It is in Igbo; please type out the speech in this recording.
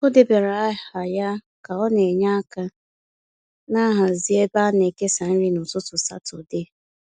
O debara aha ya ka ọ na-enye aka n'hazi ebe a na-ekesa nri n’ụtụtụ Satọde.